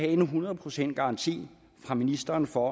en hundrede procents garanti fra ministeren for